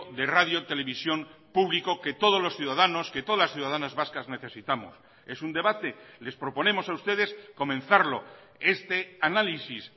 de radio televisión público que todos los ciudadanos que todas las ciudadanas vascas necesitamos es un debate les proponemos a ustedes comenzarlo este análisis